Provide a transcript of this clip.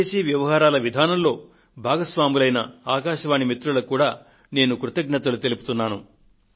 విదేశీ వ్యవహారాల విధానంలో భాగస్వాములైన ఆకాశవాణి మిత్రులకు కూడా నేను కృతజ్ఞతలు తెలుపుతున్నాను